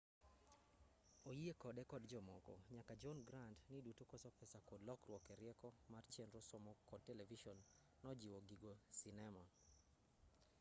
oyie kode kod jomoko nyaka john grant ni duto koso pesa kod lokruok erieko mar chenro somo kod televison nojiwo giko sinema